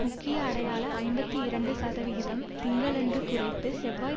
முக்கிய அடையாள ஐம்பத்தி இரண்டு சதவிகிதம் திங்களன்று குறைத்து செவ்வாய்